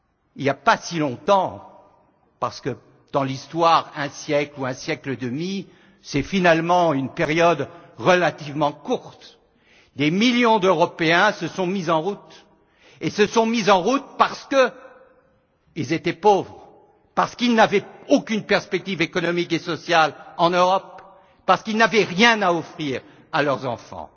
Il n'y a pas si longtemps parce que dans l'histoire, un siècle ou un siècle et demi, c'est finalement une période relativement courte des millions d'Européens se sont mis en route parce qu'ils étaient pauvres, parce qu'ils n'avaient aucune perspective économique et sociale en Europe, parce qu'ils n'avaient rien à offrir à leurs enfants.